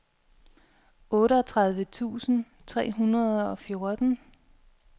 otteogtredive tusind tre hundrede og fjorten